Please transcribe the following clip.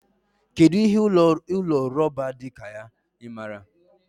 Kedụ ihe ụlọ rọba dị ka ya? Ị maara?